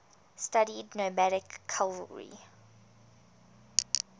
studied nomadic cavalry